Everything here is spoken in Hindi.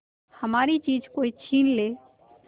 हमारी चीज कोई छीन ले